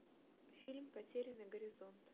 фильм потерянный горизонт